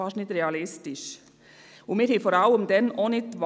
Was ist schneller oder preiswerter?